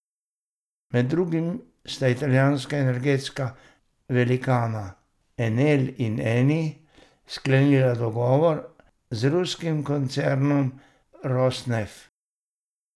Med drugim sta italijanska energetska velikana Enel in Eni sklenila dogovor z ruskim koncernom Rosnef.